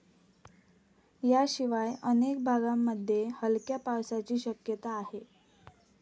याशिवाय अनेक भागांमध्ये हलक्या पावसाची शक्यता आहे.